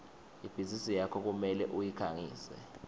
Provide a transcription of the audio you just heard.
ibhizinisi yakho kumele uyikhangise